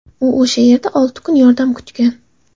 U o‘sha yerda olti kun yordam kutgan.